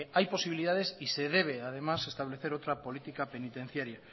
hay posibilidades y se debe además establecer otra política penitenciaria